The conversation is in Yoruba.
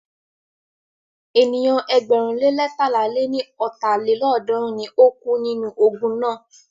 Ènìyàn ẹgbẹ̀rún le leétalá lé ní ọ́ta lélọ́ọ̀dúnrún ni o kú nínú ogun náà.